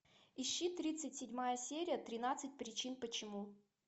ищи тридцать седьмая серия тринадцать причин почему